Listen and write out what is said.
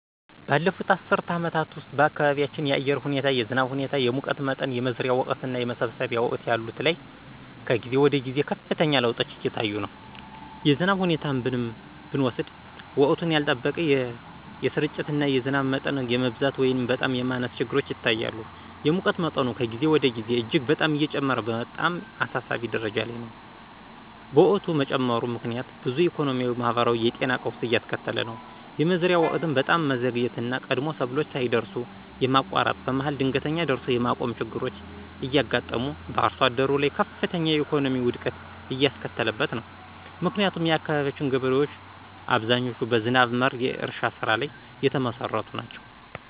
ባለፉት አስርት አመታት ውስጥ በአካባቢያችን የአየር ሁኔታ የዝናብ ሁኔታ፣ የሙቀት መጠን፣ የመዝሪያ ወቅትና የመሰብሰቢያ ወቅት ያሉት ላይ ከጊዜ ወደ ጊዜ ከፍተኛ ለውጦች እየታዩ ነው። የዝናብ ሁኔታን ብንወስድ ወቅቱን ያልጠበቀ፣ የስርጭትና የዝናብ መጠን የመብዛት ወይንም በጣም የማነስ ችግሮች ይታያሉ። የሙቀት መጠኑ ከጊዜ ወደ ጊዜ እጅግ በጣም እየጨመረ በጣም አሳሳቢ ደረጃ ላይ ነው። በሙቀት መጨመሩ ምክንያት ብዙ ኢኮኖሚያዊ ማህበራዊና የጤና ቀውስ እያስከተለ ነው። የመዝሪያ ወቅትም በጣም መዘግየትና ቀድሞ ሰብሎች ሳይደርሱ የማቋረጥ፣ በመሀል ድንገት ደርሶ የማቆም ችግሮች እያጋጠሙ በአርሶአደሩ ላይ ከፍተኛ የኢኮኖሚ ውድቀት እያስከተለበት ነው። ምክንያቱም የአካባቢያችን ገበሬዎች አብዛኞቹ በዝናብ መር የእርሻ ስራ ላይ የተመሰረቱ ናቸው።